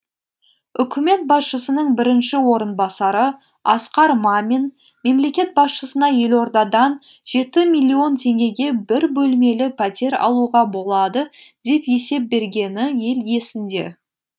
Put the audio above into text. үкімет басшысының бірінші орынбасары асқар мамин мемлекет басшысына елордадан жеті миллион теңгеге бір бөлмелі пәтер алуға болады деп есеп бергені ел есінде